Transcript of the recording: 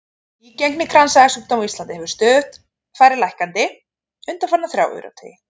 Nýgengi kransæðasjúkdóma á Íslandi hefur farið stöðugt lækkandi undanfarna þrjá áratugi.